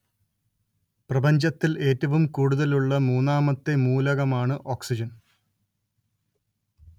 പ്രപഞ്ചത്തില്‍ ഏറ്റവും കൂടുതലുള്ള മൂന്നാമത്തെ മൂലകമാണ് ഓക്സിജന്‍